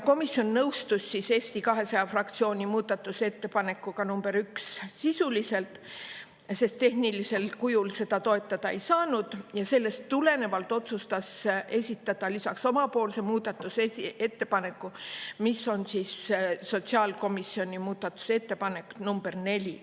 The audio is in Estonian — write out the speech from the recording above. Komisjon nõustus Eesti 200 fraktsiooni muudatusettepanekuga nr 1 sisuliselt, sest tehnilisel kujul seda toetada ei saanud, ja sellest tulenevalt otsustas esitada lisaks omapoolse muudatusettepaneku, mis on sotsiaalkomisjoni muudatusettepanek nr 4.